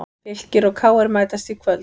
Fylkir og KR mætast í kvöld